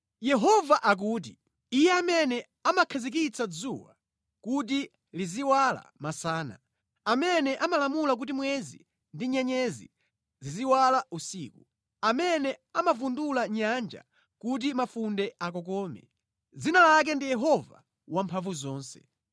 Yehova akuti, Iye amene amakhazikitsa dzuwa kuti liziwala masana, amene amalamula kuti mwezi ndi nyenyezi ziziwala usiku, amene amavundula nyanja kuti mafunde akokome, dzina lake ndi Yehova Wamphamvuzonse: